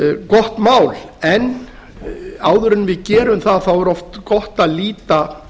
gott mál en áður en við gerum það er oft gott að líta